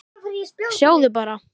Sjáðu bara.